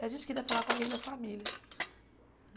E a gente queria falar com alguém da família.